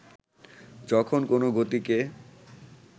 যখন কোনো গতিকে